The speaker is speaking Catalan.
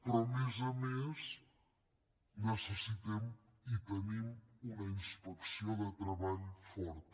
però a més a més necessitem i tenim una inspecció de treball forta